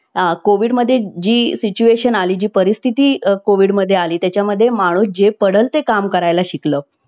Covid मध्ये जी situation आली जी परिस्थिती कोविड मध्ये आली त्याच्या मध्ये माणूस जे पडेल ते काम करायला शिकलं